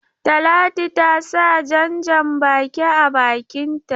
Talatu ta sa jan-baki a bakinta.